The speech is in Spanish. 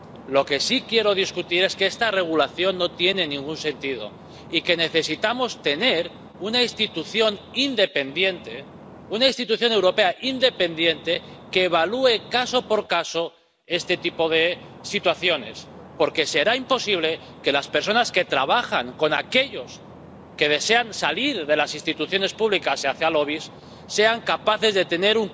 Lo que sí quiero discutir es que esta regulación no tiene ningún sentido y que necesitamos tener una institución independiente, una institución europea independiente que evalúe, caso por caso, este tipo de situaciones, porque será imposible que las personas que trabajan con aquellos que desean salir de las instituciones públicas hacia lobbies sean capaces de tener